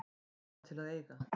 Bara til að eiga.